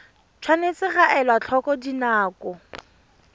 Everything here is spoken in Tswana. tshwanetse ga elwa tlhoko dinako